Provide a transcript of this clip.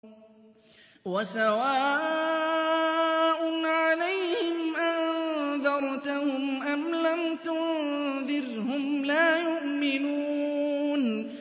وَسَوَاءٌ عَلَيْهِمْ أَأَنذَرْتَهُمْ أَمْ لَمْ تُنذِرْهُمْ لَا يُؤْمِنُونَ